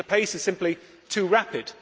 the pace is simply too rapid.